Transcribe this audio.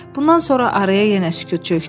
Bundan sonra araya yenə sükut çökdü.